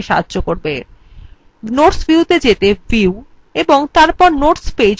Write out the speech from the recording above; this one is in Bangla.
notes view ত়ে যেতে view এবং তারপর notes page click করুন